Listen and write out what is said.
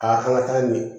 Aa an ka taa ɲɛ